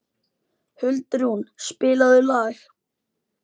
Huldrún, spilaðu lag.